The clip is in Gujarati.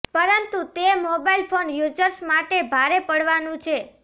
પરંતુ તે મોબાઈલ ફોન યુઝર્સ માટે ભારે પડવાનું છે